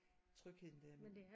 Trygheden ved at